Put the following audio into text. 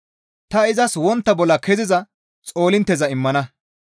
Ta izas wontta bolla keziza xoolintteza immana.